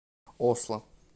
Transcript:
осло